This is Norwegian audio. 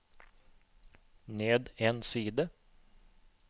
ned en side